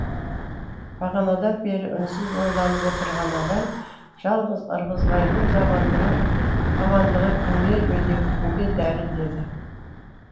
бағанадан бері үнсіз ойланып отырған абай жалғыз ырғызбайдың амандығы кімге медеу кімге дәрі деді